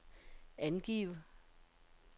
angiv